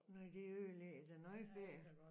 Nej det ødelægger da noget ferie